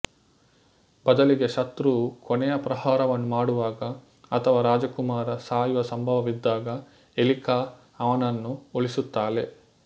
ಬದಲಿಗೆ ಶತೃವು ಕೊನೆಯ ಪ್ರಹಾರವನ್ನು ಮಾಡುವಾಗ ಅಥವಾ ರಾಜಕುಮಾರ ಸಾಯುವ ಸಂಭವವಿದ್ದಾಗ ಎಲಿಕಾ ಅವನನ್ನು ಉಳಿಸುತ್ತಾಳೆ